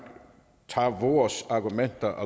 tager vores argumenter